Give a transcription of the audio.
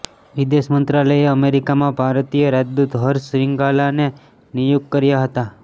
વિદેશ મંત્રાલયે અમેરિકામાં ભારતીય રાજદૂત હર્ષ શ્રાીંગલાને નિયુક્ત કર્યા હતા